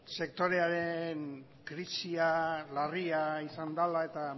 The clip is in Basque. sektorearen krisia larria izan dela eta